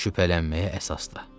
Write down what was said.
Şübhələnməyə əsasda.